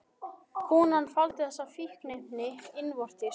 Konan faldi þessi fíkniefni innvortis